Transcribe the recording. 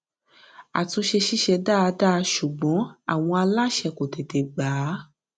àtúnṣe ṣiṣẹ dáadáa ṣùgbọn àwọn aláṣẹ kọ tètè gba á